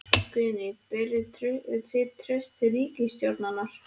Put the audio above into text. Guðný: Berið þið traust til ríkisstjórnarinnar?